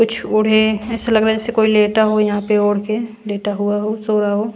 कुछ उड़े ऐसा लग रहा है जैसे कोई लेटा हो यहां पे उड़ के लेटा हुआ हो सो रहा हो।